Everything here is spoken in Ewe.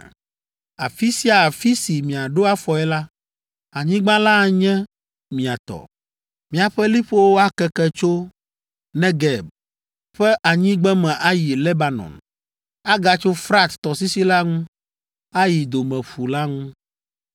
Afi sia afi si miaɖo afɔe la, anyigba la anye mia tɔ. Miaƒe liƒowo akeke tso Negeb ƒe anyigbeme ayi Lebanon, agatso Frat tɔsisi la ŋu, ayi Domeƒu la ŋu.